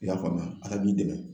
I y'a faamuya, Ala b'i dɛmɛ.